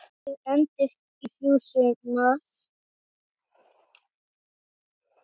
Verkið entist í þrjú sumur.